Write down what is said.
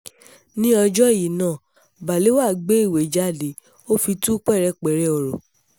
ní ọjọ́ yìí kan náà balewa gbé ìwé jáde ó fi tú pẹ̀rẹ̀pẹ̀rẹ̀ ọ̀rọ̀